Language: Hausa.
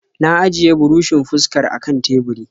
Na ajiye burushin fuskar a kan teburi.